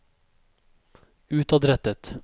utadrettet